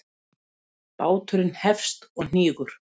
Báturinn hefst og hnígur.